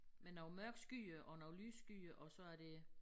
Med nogle mørke skyer og nogle lyse skyer og så er det